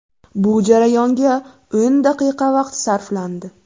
Bu jarayonga o‘n daqiqa vaqt sarflandi.